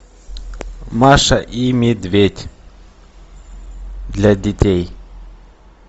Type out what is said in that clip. маша и медведь для детей